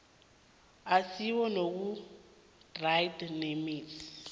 asiwe nakutrade remedies